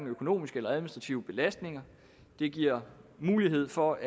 økonomisk eller administrativ belastning det giver mulighed for